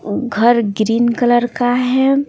घर green colour का है।